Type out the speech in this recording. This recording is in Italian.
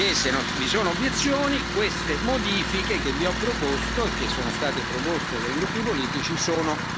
Se non vi sono obiezioni, le modifiche che vi ho proposto e che sono state proposte dai gruppi politici sono approvate.